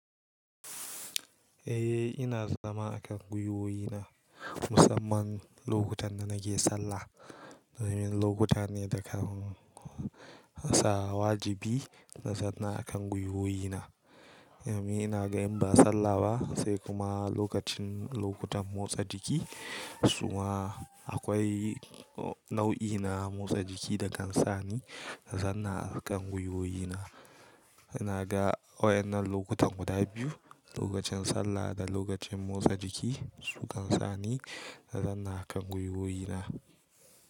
Eh ina zama akan gwiwoyi na musamman lokutan da nake sallah. Wannan lokuta ne da kan sa wajibi na zanna akan gwiwoyi na. Yo mi ina ga in ba sallah ba sai kuma lokacin lokutan motsa jiki. Su ma akwai nau'i na motsa jiki da kan sa ni na zanna akan gwiwoyi na. Ina ga wa'yannan lokutan guda biyu lokacin sallah da lokacin motsa jiki su kan sa ni na zanna akan gwiwoyi na.